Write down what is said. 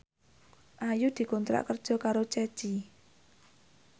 Ayu dikontrak kerja karo Ceci